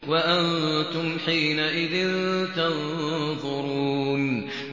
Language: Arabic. وَأَنتُمْ حِينَئِذٍ تَنظُرُونَ